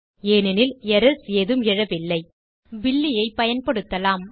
ஏனெனில் எரர்ஸ் ஏதும் எழவில்லை இப்போது பில்லி ஐ பயன்படுத்தலாம்